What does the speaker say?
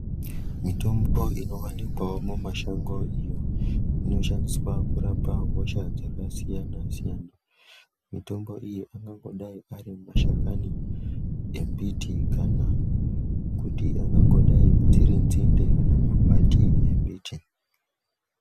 Mitombo inowanikwawo mumashnago iyo inoshandiswa kurapa hosha dzakasiyana siyana mitombo iyi angangodai ari mashakani emumbiti kana kuti angangodai dziri nzinde kana makwati embiti.